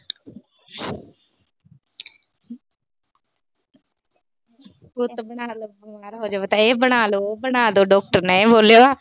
ਤਾਂ ਇਹ ਬਣਾ ਲੋ, ਉਹ ਬਣਾ ਲੋ। ਡਾਕਟਰ ਨੇ ਇਹ ਬੋਲਿਆ।